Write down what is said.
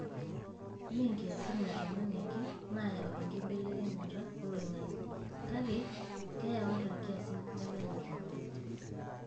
Mee nkiasin e tung'ani ake naayu enkibelekenyata oloing'ang'e kake keyau ata nkiasin neme netung'ani.